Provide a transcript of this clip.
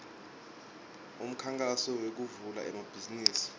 umkhankaso wekuvula emabhizimisi